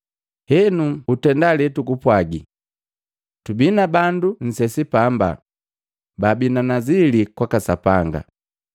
Henu utenda letukupwagi. Tubi na bandu nsesi paamba baabi na nazili kwaka Sapanga.